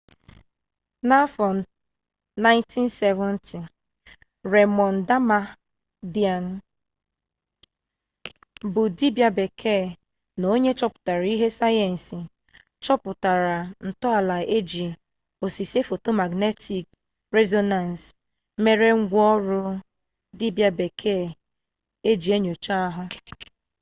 n'afọ 1970 remond damadian bụ dibia bekee na onye nchọpụta ihe sayensị chọpụtara ntọala iji osise foto magnetik rezonans mere ngwa ọrụ dibia bekee eji enyocha ahụ